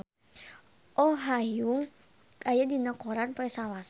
Oh Ha Young aya dina koran poe Salasa